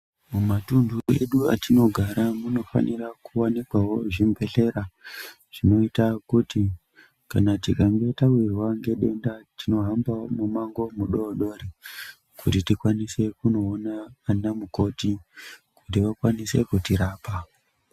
Mumatunhu edu atinogara munofanira kuvanikwawo zvibhedhlera zvinoita kuti kana tikange tawirwa ngedenda tinohamba mumango mudodori kuti tikwanise kunoona ana mukoti kuti vakwanise kutirapa.